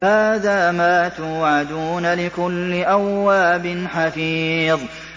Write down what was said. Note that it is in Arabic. هَٰذَا مَا تُوعَدُونَ لِكُلِّ أَوَّابٍ حَفِيظٍ